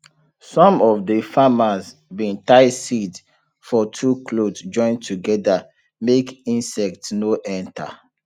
some of de farmers bin tie seed for two cloth join together make insect no enter